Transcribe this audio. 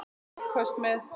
Afköst með